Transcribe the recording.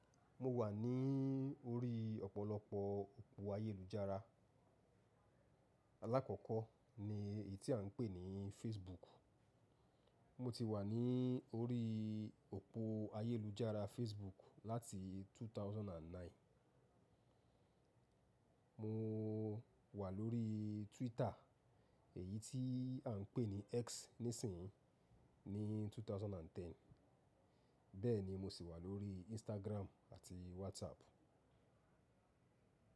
Mo wà ní orí ọ̀pọ̀lọpọ̀ òpó ayélujára. Alákọ̀kọ́ ni èyí tí à ń pè ní Facebook. Mo ti wà ní orí òpó ayélujára Facebook láti 2009. Mo wà lórí Twitter, èyí tí à ń pè ní X níìsín ní 2010. Bẹ́ẹ̀ ni mo sì wà lórí Instagram àti WhatsApp.